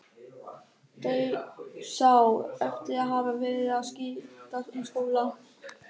Dauðsá eftir að hafa verið að skipta um skóla.